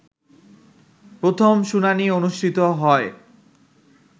প্রথম শুনানি অনুষ্ঠিত হয়